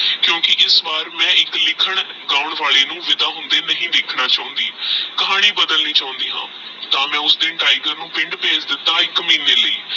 ਕੁਕੀ ਇਸ ਵਾਰ ਮੈ ਏਕ ਲਿਖਣ ਗਾਉ ਵਾਲੀ ਉ ਵੇਦਾ ਹੋਂਦੇ ਨਹੀ ਦੇਖਣਾ ਚੁਣਦੀ ਕਹਾਨੀ ਬਦਲਨੀ ਚੌਂਦੀ ਆਹ ਤਹ ਮੈ ਉਸ ਦਿਨ ਤਿਗੇਰ ਨੂ ਪਿੰਡ ਭੇਜ ਦਿੱਤਾ ਏਕ ਮਹੀਨੇ ਲਈ